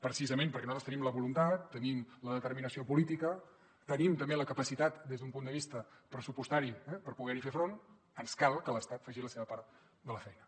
precisament perquè nosaltres tenim la voluntat tenim la determinació política tenim també la capacitat des d’un punt de vista pressupostari per poder hi fer front ens cal que l’estat faci la seva part de la feina